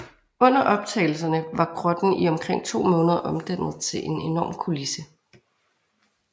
Under optagelserne var grotten i omkring to måneder omdannet til en enorm kulisse